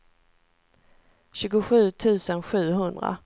tjugosju tusen sjuhundra